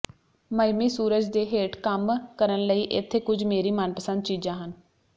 Miami ਸੂਰਜ ਦੇ ਹੇਠ ਕੰਮ ਕਰਨ ਲਈ ਇੱਥੇ ਕੁਝ ਮੇਰੀ ਮਨਪਸੰਦ ਚੀਜ਼ਾਂ ਹਨ